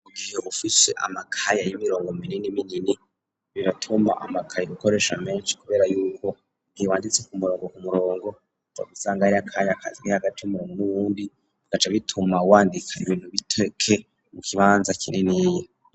Mugihe ufise amakaye y'imirongo minini minini biratuma amakaye ukoresha menshi kubera yuko ntiwanditse ku murongo ku murongo ugaca usanga hariho akanya Kari hagati y,umurongo n,uwundi bigaca bituma wandika ibintu bitekeye mu kibanza kininiya.